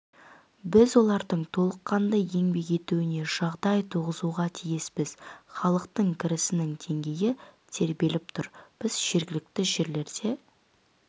біз олардың толыққанды еңбек етуіне жағдай туғызуға тиіспіз халықтың кірісінің деңгейі тербеліп тұр біз жергілікті жерлерде